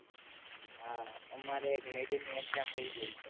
હા અમારે એક mid ની exam વઈ ગઈ છે